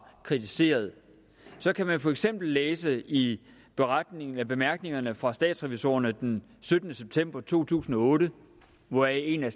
kritiseret kan man for eksempel læse i bemærkningerne fra statsrevisorerne den syttende september to tusind og otte og en af